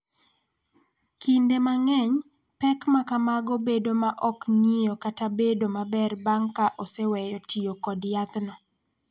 Kinde mang�eny, pek ma kamago bedo ma ok ng�iyo kata bedo maber bang� ka oseweyo tiyo kod yathno.